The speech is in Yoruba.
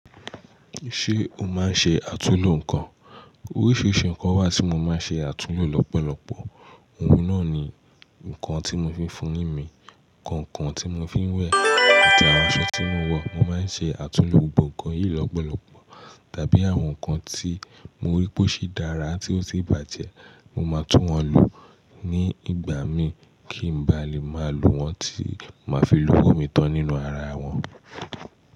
Ṣé o máa ń ṣe àtúllò nǹkan? Oríṣiríṣi nǹkan wà tí mo máa ń ṣe àtúllò lọ́pọ̀lọpọ̀. Ohun náà ni nǹkan tí mo fi ń foyin mí, kàǹkàn tí mo fi ń wẹ̀ àti àwọn aṣọ tí mo wọ̀. Mo máa ń ṣe àtúllò gbogbo nǹkan yìí lọ́pọ̀lọpọ̀. Tàbí àwọn nǹkan tí mo rí pé ó ṣi dára tí ó tì bàjẹ́, mo máa tún wọn lu ní ìgbà mí kí n bá lè máa lo wọn tí ma fi lówó mi tán nínú ara wọn.